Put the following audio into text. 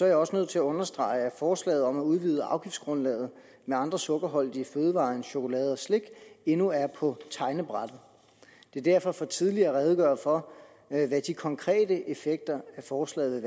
jeg også nødt til at understrege at forslaget om at udvide afgiftsgrundlaget med andre sukkerholdige fødevarer end chokolade og slik endnu er på tegnebrættet det er derfor for tidligt at redegøre for hvad de konkrete effekter af forslaget